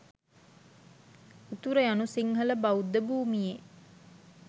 උතුර යනු සිංහල බෞද්ධ භූමියේ